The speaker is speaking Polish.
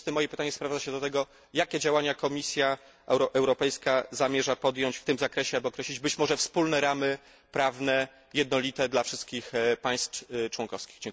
W związku z tym moje pytanie sprowadza się do tego jakie działania Komisja Europejska zamierza podjąć w tym zakresie, aby określić być może wspólne ramy prawne, jednolite dla wszystkich państw członkowskich?